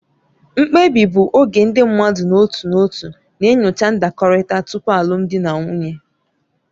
Mkpebi bụ oge ndị mmadụ n'otu n'otu na-enyocha ndakọrịta tupu alụmdi na nwunye.